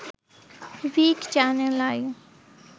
ভিট channel I